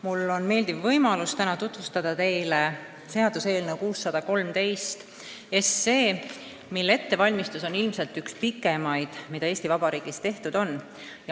Mul on täna meeldiv võimalus tutvustada teile seaduseelnõu 613, mille ettevalmistus on ilmselt üks pikimaid, mida Eesti Vabariigis tehtud on.